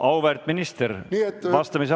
Auväärt minister, vastamise aeg on kolm minutit!